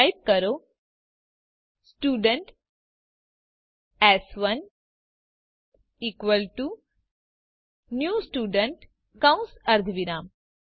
તો ટાઇપ કરો student s one equal to new student કૌસ અર્ધવિરામ